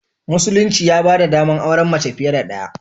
Musulunci ya ba da ɗamar auren mace fiye da ɗaya.